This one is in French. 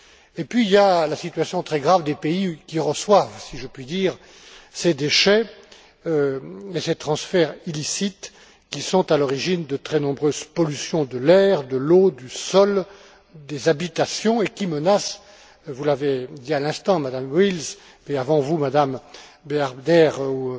Et il y a la situation très grave des pays qui reçoivent, si je puis dire, ces déchets, ces transferts illicites qui sont à l'origine de très nombreuses pollutions de l'air, de l'eau, du sol, des habitations, et qui menacent vous l'avez dit à l'instant, Madame Wils, et avant vous, Mme Bearder, ou